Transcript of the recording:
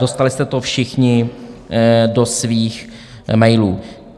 Dostali jste to všichni do svých mailů.